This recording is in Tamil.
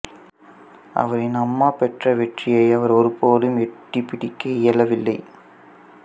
அவரின் அம்மா பெற்ற வெற்றியை அவர் ஒருபோதும் எட்டிப்பிடிக்க இயலவில்லை